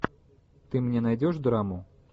ты мне найдешь драму